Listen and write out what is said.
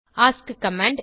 ask command